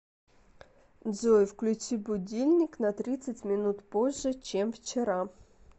джой включи будильник на тридцать минут позже чем вчера